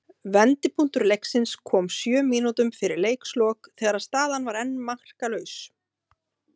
Vendipunktur leiksins kom sjö mínútum fyrir leikslok þegar staðan var enn markalaus.